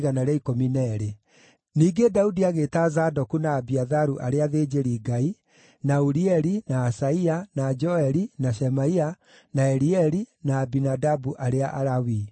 Ningĩ Daudi agĩĩta Zadoku na Abiatharu arĩa athĩnjĩri-Ngai, na Urieli, na Asaia, na Joeli, na Shemaia, na Elieli, na Aminadabu arĩa Alawii.